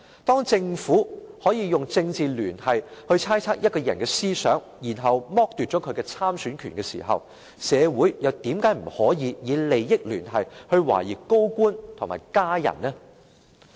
當政府可以用"政治聯繫"來猜測一個人的思想，然後剝奪她的參選權時，社會又為何不可以用"利益聯繫"來懷疑高官及其家人？